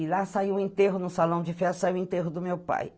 E lá saiu o enterro no salão de festa, saiu o enterro do meu pai.